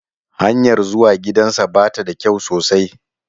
Hanyar zuwa gidansa ba ta da kyau sosai